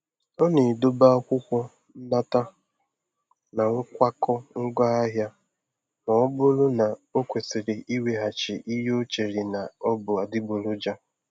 Ọ na-edobe akwụkwọ nnata na nkwakọ ngwaahịa ma ọ bụrụ na ọ kwesịrị iweghachi ihe e chere na ọ bụ adịgboroja.